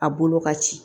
A bolo ka ci